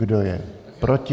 Kdo je proti?